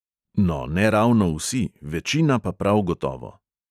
No, ne ravno vsi, večina pa prav gotovo.